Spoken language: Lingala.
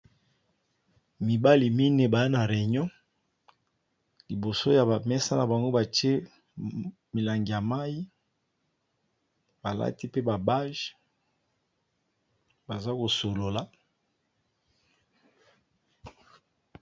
Mibali minei ba na reunion liboso ya ba mesa na bango batie milangi ya mayi, balati pe ba bage baza ko solola.